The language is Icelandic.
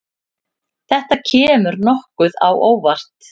Þetta kemur nokkuð á óvart.